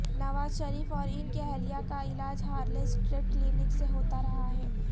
نواز شریف اور ان کی اہلیہ کا علاج ہارلے سٹریٹ کلینک سے ہوتا رہا ہے